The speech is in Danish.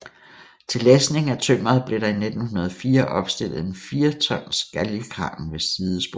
Til læsning af tømmeret blev der i 1904 opstillet en 4 tons galgekran ved sidesporet